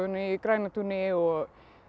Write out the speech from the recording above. í Grænatúni og